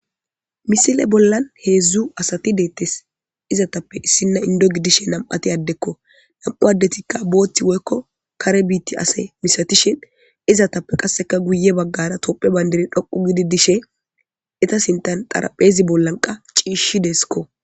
misile bollan heedzdzu asati deettes izetappe issinna indo gidishe nam7ati addekko nam7u addetikka bootti woykko kare biitti asey misatishin izatappe qasseka guye baggara topphe bayndiri dhoqu gididishe eta sintan tarapheezi bollanqa ciishshi deeskko